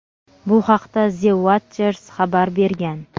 Bu haqda "The Watchers" xabar bergan.